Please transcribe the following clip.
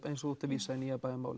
eins og þú ert að vísa í Nýja